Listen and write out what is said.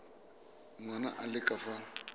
ngwana a le ka fa